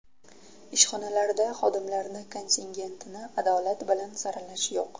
Ishxonalarda xodimlarni kontingentini adolat bilan saralash yo‘q.